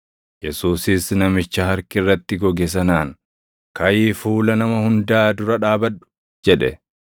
Yesuusis namicha harki irratti goge sanaan, “Kaʼii fuula nama hundaa dura dhaabadhu” jedhe.